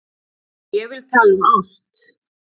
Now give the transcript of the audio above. Ég vil tala um ást.